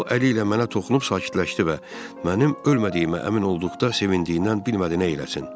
O əli ilə mənə toxunub sakitləşdi və mənim ölmədiyimə əmin olduqda sevindiyindən bilmədi nə eləsin.